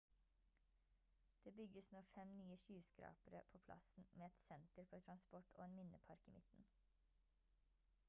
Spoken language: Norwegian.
det bygges nå 5 nye skyskrapere på plassen med et senter for transport og en minnepark i midten